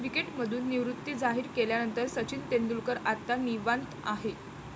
क्रिकेटमधून निवृत्ती जाहीर केल्यानंतर सचिन तेंडुलकर आता निवांत आहे.